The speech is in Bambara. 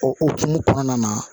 O hokumu kɔnɔna na